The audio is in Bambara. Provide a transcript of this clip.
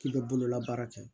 K'i bɛ bolola baara kɛ